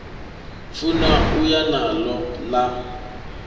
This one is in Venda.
funa u ya naḽo ḽa